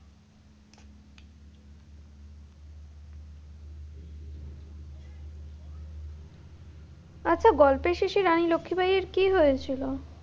আচ্ছা গল্পের শেষে রানী লক্ষি বাইয়ের কি হয়েছিল?